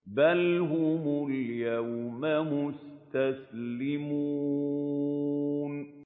بَلْ هُمُ الْيَوْمَ مُسْتَسْلِمُونَ